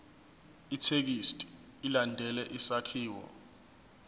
ithekisthi ilandele isakhiwo